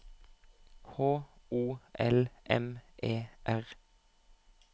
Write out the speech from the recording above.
H O L M E R